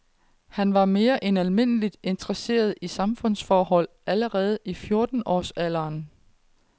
Han var mere end almindeligt interesseret i samfundsforhold allerede i fjorten års alderen.